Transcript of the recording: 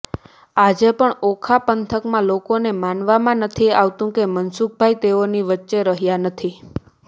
આજે પણ ઓખા પંથકના લોકોને માનવામાં નથી આવતું કે મનસુખભાઇ તેઓની વચ્ચે રહ્યા નથી